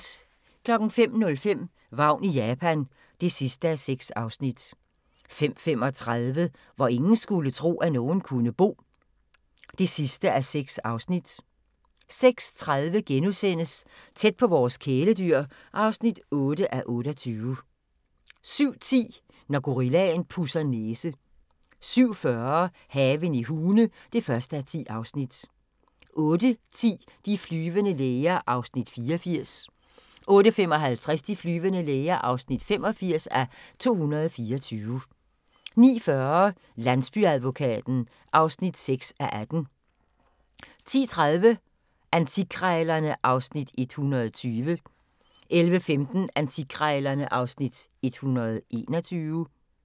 05:05: Vagn i Japan (6:6) 05:35: Hvor ingen skulle tro, at nogen kunne bo (6:6) 06:30: Tæt på vores kæledyr (8:28)* 07:10: Når gorillaen pudser næse 07:40: Haven i Hune (1:10) 08:10: De flyvende læger (84:224) 08:55: De flyvende læger (85:224) 09:40: Landsbyadvokaten (6:18) 10:30: Antikkrejlerne (Afs. 120) 11:15: Antikkrejlerne (Afs. 121)